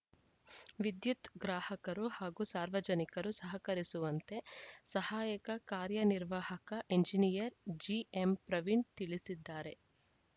ವಿದ್ಯುತ್‌ ಗ್ರಾಹಕರು ಹಾಗೂ ಸಾರ್ವಜನಿಕರು ಸಹಕರಿಸುವಂತೆ ಸಹಾಯಕ ಕಾರ್ಯ ನಿರ್ವಾಹಕ ಎಂಜಿನಿಯರ್‌ ಜಿಎಂ ಪ್ರವೀಣ್‌ ತಿಳಿಸಿದ್ದಾರೆ